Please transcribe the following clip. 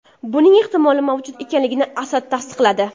Buning ehtimoli mavjud ekanligini Asad tasdiqladi.